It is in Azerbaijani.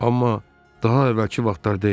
Amma daha əvvəlki vaxtlar deyil.